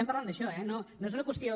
parlem d’això eh no és una qüestió